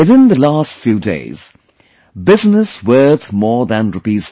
Within the last few days, business worth more than Rs